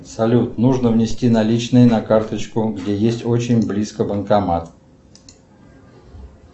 салют нужно внести наличные на карточку где есть очень близко банкомат